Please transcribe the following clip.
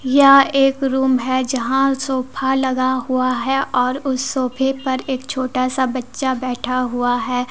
यह एक रूम है जहां सोफा लगा हुआ है और उस सोफे पर एक छोटा सा बच्चा बैठा हुआ है।